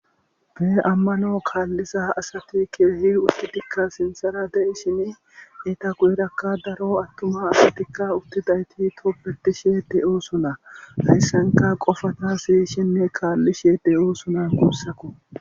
bee ammano kaallisa asati kehi uttidikka sinsera de7ishini eta querakka daro attuma asatikka uttidayti tobetishe de7o suna hayssanka qofata siy shinne kaallishe de7o suna kussako